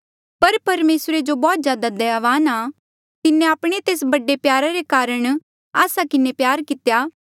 पर परमेसरे जो बौह्त ज्यादा दयावान आ तिन्हें आपणे तेस बड़े प्यारा रे कारण आस्सा किन्हें प्यार कितेया